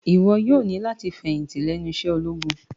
Iwọ yoo ni lati ifẹhinti lẹnu iṣẹ ologun!